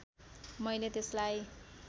मैले त्यसलाई